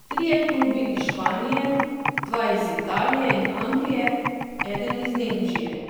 Trije klubi iz Španije, dva iz Italije in Anglije, eden iz Nemčije.